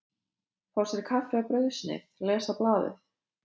Fá sér kaffi og brauðsneið, lesa blaðið.